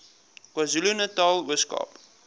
kwazulunatal ooskaap